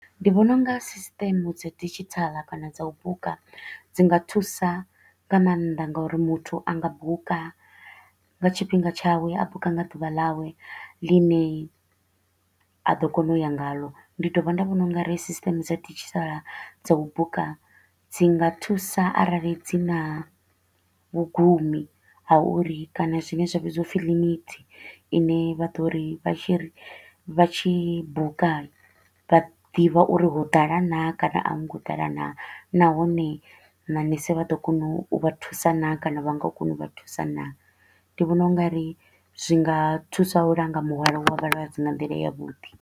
Ndi vhona u nga system dza digital kana dza u buka dzi nga thusa nga maanḓa nga uri muthu a nga buka nga tshifhinga tshawe, a buka nga ḓuvha ḽawe ḽi ne a ḓo kona u ya ngaḽo. Ndi dovha nda vhona u nga ri system dza digital dza u buka dzi nga thusa arali dzi na vhugumi ha uri kana zwi ne zwa vhidziwa upfi limit i ne vha ḓo ri vha tshi ri vha tshi buka vha ḓivha uri ho ḓala naa kana a hu ngo ḓala naa. Nahone manese vha ḓo kona u vha thusa naa kana a vha nga koni u vha thusa naa. Ndi vhona u nga ri zwi nga thusa u langa muhwalo wa vhalwadze nga nḓila yavhuḓi.